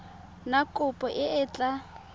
na kopo e e tla